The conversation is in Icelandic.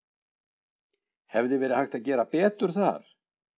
Hefði verið hægt að gera betur þar?